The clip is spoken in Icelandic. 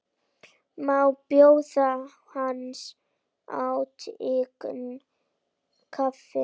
Má bjóða hans hátign kaffi?